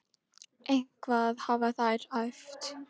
Eitthvað hafa þær æft.